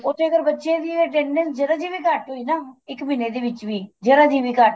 ਉੱਥੇ ਅਗਰ ਬੱਚੇ ਸੀ attendance ਜੇਰਾ ਜੀ ਵੀ ਘੱਟ ਹੋਈ ਨਾ ਇੱਕ ਮਹੀਨੇ ਦੇ ਵਿੱਚ ਵੀ ਜੇਰਾ ਜੀ ਵੀ ਘੱਟ